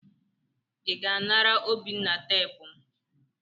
ị ga anara obinna teepu m?